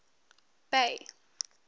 bay